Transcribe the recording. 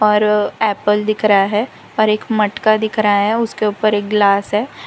और एप्पल दिख रहा है और एक मटका दिख रहा है उसके ऊपर एक ग्लास है।